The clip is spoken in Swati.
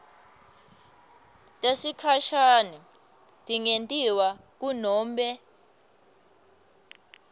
tesikhashane tingentiwa kunobe